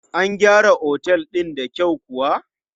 An gyara Otel din da kyau kuwa?